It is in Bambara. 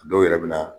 A dɔw yɛrɛ bɛ na